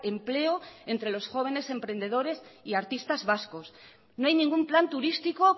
empleo entre los jóvenes emprendedores y artistas vascos no hay ningún plan turístico